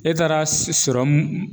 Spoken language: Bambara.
E taara sɔrɔmu